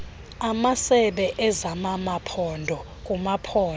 amasebe ezamamaphondo kumaphondo